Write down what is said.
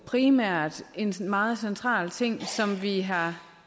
primært skyldes en meget central ting som vi har